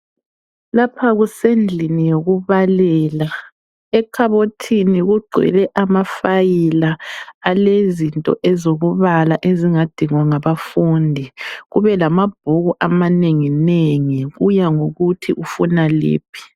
Lapha kusendlini yokubalela. Ekhabothini kugcwele amafayila alezinto ezokubala ezingadingwa ngabafundi. Kubelamabhuku amanenginengi kuya ngokuthi ufuna liphi.